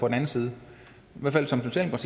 den anden side